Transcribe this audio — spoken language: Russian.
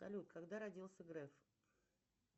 салют когда родился греф